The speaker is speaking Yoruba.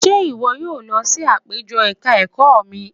Ṣé ìwọ yóò lọ sí àpéjọ ẹ̀ka ẹ̀kọ́ mi?